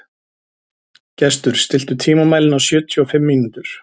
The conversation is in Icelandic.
Gestur, stilltu tímamælinn á sjötíu og fimm mínútur.